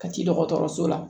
Kati dɔgɔtɔrɔso la